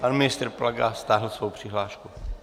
Pan ministr Plaga stáhl svoji přihlášku.